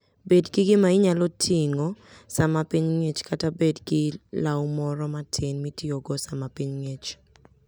Bed gi gima inyalo ting'i sama piny ng'ich, kata bed gi law moro matin mitiyogo sama piny ng'ich.